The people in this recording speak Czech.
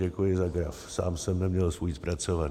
Děkuji za graf, sám jsem neměl svůj zpracovaný.